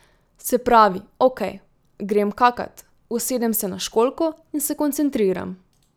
Se pravi, okej, grem kakat, usedem se na školjko in se koncentriram.